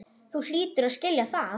Þú hlýtur að skilja það.